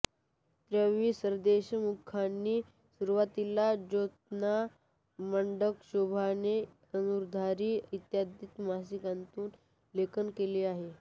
त्र्यं वि सरदेशमुखांनी सुरुवातीला ज्योत्स्ना वाङ्मयशोभा धर्नुधारी इत्यादी मासिकांतून लेखन केले